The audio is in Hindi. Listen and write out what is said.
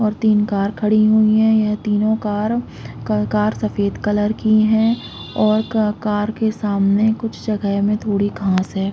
--और तीन कार खड़ी हुई है यहाँ तीनो कार का कार सफ़ेद कलर की है और का कार के सामने कुछ जगह मे थोठी घास है।